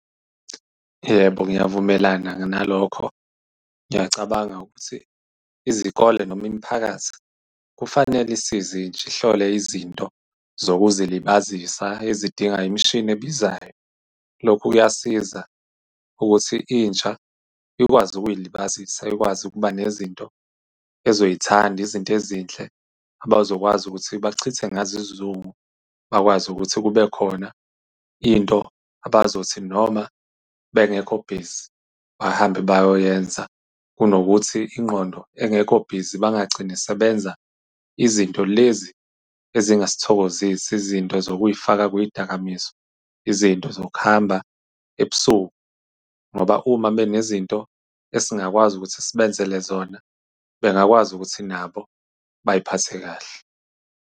Yebo, ngiyavumelana-ke nalokho. Ngiyacabanga ukuthi izikole noma imiphakathi kufanele isize intsha, ihlole izinto zokuzilibazisa ezidinga imishini ebizayo. Lokhu kuyasiza ukuthi intsha ikwazi ukuy'libazisa, ikwazi ukuba nezinto ezoyithanda, izinto ezinhle abazokwazi ukuthi bachithe ngazo isizungu. Bakwazi ukuthi kube khona into abazothi noma bengekho busy bahambe bayoyiyenza, kunokuthi ingqondo engekho busy, bangagcini sebenza izinto lezi ezingasithokozisi. Izinto zokuy'faka kuy'dakamizwa, izinto zokuhamba ebusuku, ngoba uma mekunezinto esingakwazi ukuthi sibenzele zona, bengakwazi ukuthi nabo bay'phathe kahle.